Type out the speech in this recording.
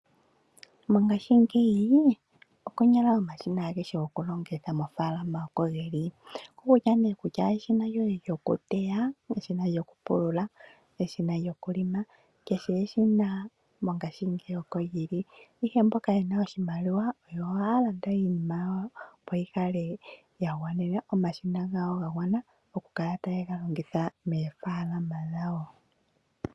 Mongaashingeyi konyala omashina agehe goku longitha moofaalama oko ge li ongele eshina lyoye lyokuteya lyokupulula, eshina lyokulonga kehe eshina oko lyili, ihe mongaashingeyi aanashimaliwa oyo haya landa iinima yawo, opo ya kale ya gwanena omashina gawo ga gwana oku kala taye ga longitha moofalama dhawo.